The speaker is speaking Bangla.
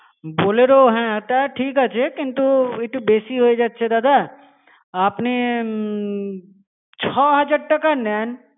Bolero হ্যা তা ঠিক আছে কিন্তু একটু বেশি হয়ে যাচ্ছে দাদা, আপনি ছ হাজার টাকা নেন.